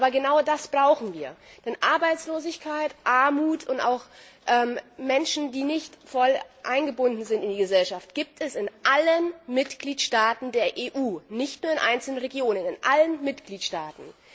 Aber genau das brauchen wir, denn Arbeitslosigkeit, Armut und auch Menschen, die nicht voll eingebunden sind in die Gesellschaft, gibt es in allen Mitgliedstaaten der EU, nicht nur in einzelnen Regionen in allen Mitgliedstaaten!